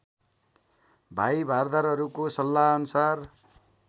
भाइ भारदारहरूको सल्लाहअनुसार